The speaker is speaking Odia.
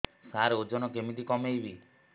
ସାର ଓଜନ କେମିତି କମେଇବି